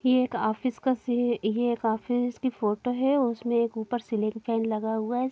ये एक ऑफिस का सी ये एक ऑफिस की फोटो है उसमें एक ऊपर सीलिंग फैन लगा है।